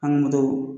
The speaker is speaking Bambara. An ka moto